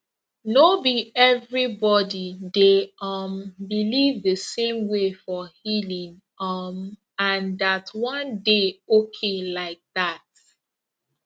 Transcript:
no be everybody dey um believe the same way for healing um and that one dey okay like that